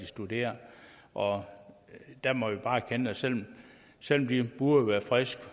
studeret og der må vi bare erkende at selv selv om de burde være friske